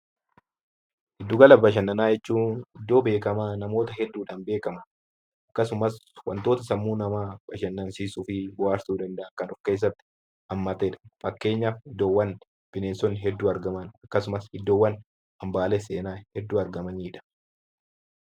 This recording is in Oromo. Giddugala bashannanaa jechuun iddoo beekamaa namoota hedduudhaan beekaman akkasumas wantoota sammuu namaa bashannansiisuu fi bohaarsuu danda'an kan of keessatti hammatee dha. Fakkeenyaaf, iddoowwan bineensonni hedduu argaman akkasumas iddoowwan hambaalee seenaa hedduu argamanii dha.